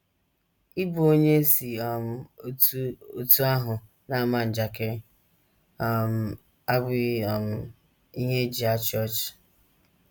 Ịbụ onye e si um otú otú ahụ na - ama njakịrị um abụghị um ihe e ji achị ọchị.